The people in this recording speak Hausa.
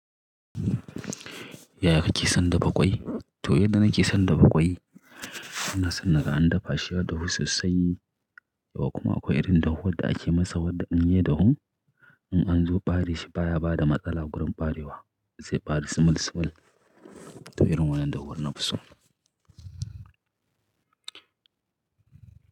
Yaya kake son dafa ƙwai? To yanda nake son dafa ƙwai, ina son naga an dafa shi ya dafu sosai kuma akwai irin dufuwan da ake masa wadda in ya dafu, in an zo ɓare shi baya ba da matsala wurin ɓarewa, zai ɓare sumul-sumul. To irin wannan dafuwan na fi so.